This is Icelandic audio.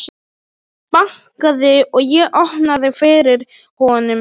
Hann bankaði og ég opnaði fyrir honum.